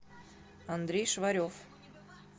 андрей шварев